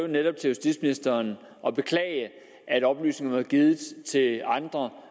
netop justitsministeren og beklage at oplysningerne var blevet givet til andre